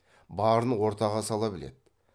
барын ортаға сала біледі